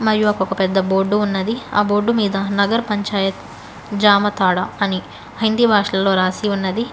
మరియు అక ఒక ఒక పెద్ద బోర్డు ఉన్నది ఆ బోర్డు మీద నగర్ పంచాయత్ జామ తాడ అని హిందీ భాషల్లో రాసి ఉన్నది.